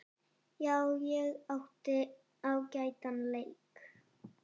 Já, ég átti ágætan leik.